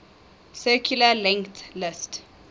circularly linked list